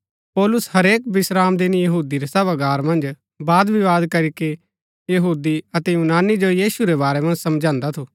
पौलुस हरेक विश्रामदिन यहूदी रै सभागार मन्ज वादविवाद करीके यहूदी अतै यूनानी जो यीशु रै बारै मन्ज समझांदा थु